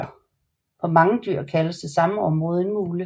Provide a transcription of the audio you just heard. På mange dyr kaldes det samme område en mule